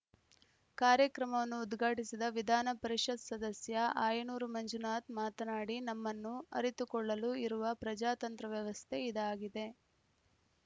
ಕಾರ್ಯಕ್ರಮವನ್ನು ಉದ್ಘಾಟಿಸಿದ ವಿಧಾನ ಪರಿಷತ್‌ ಸದಸ್ಯ ಆಯನೂರು ಮಂಜುನಾಥ್‌ ಮಾತನಾಡಿ ನಮ್ಮನ್ನು ಆರಿತುಕೊಳ್ಳಲು ಇರುವ ಪ್ರಜಾತಂತ್ರ ವ್ಯವಸ್ಥೆ ಇದಾಗಿದೆ